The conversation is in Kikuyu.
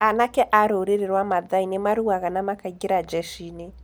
Anake a rũũrĩrĩ rwa Mathai nĩ maruaga na makaingĩra njeshi-inĩ.